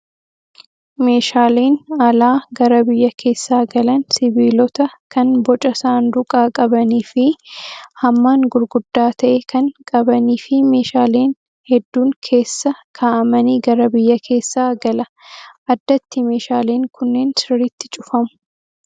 Meeshaaleen alaa gara biyya keessaa galan sibiilota kan boca saanduqaa qabanii fi hammaan gurguddaa ta'e kan qabanii fi meeshaaleen hedduun keessa kaa'amanii gara biyya keessaa gala. Addatti meeshaaleen kunneen sirriitti cufamu.